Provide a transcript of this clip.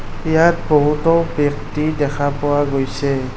ইয়াত বহুতো ব্যক্তি দেখা পোৱা গৈছে।